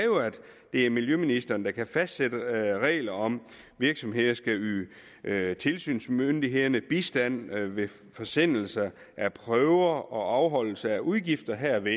det er miljøministeren der kan fastsætte regler om at virksomheder skal yde tilsynsmyndighederne bistand ved forsendelser af prøver og afholdelse af udgifter herved